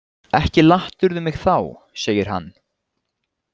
Ekki lattirðu mig þá, segir hann.